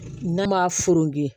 N'a ma